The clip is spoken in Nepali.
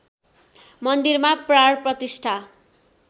मन्दिरमा प्राण प्रतिष्ठा